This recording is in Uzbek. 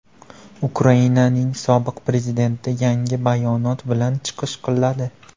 Ukrainaning sobiq prezidenti yangi bayonot bilan chiqish qiladi.